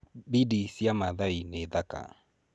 Bidi cia Maathai nĩ thaka.